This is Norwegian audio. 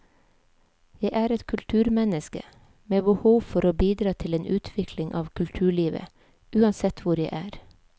Jeg er et kulturmenneske, med behov for å bidra til en utvikling av kulturlivet, uansett hvor jeg er.